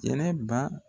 Kɛnɛba